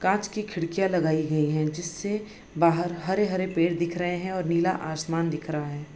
कांच की खिडकिया लगाई गई है यहां जिससे बाहर हरे-हरे पेड़ दिख रहे हैं और नीला आसमान दिख रहा है।